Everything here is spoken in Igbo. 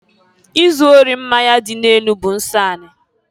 Izụ ori mmanya dị n'enu bụ nsọ anị.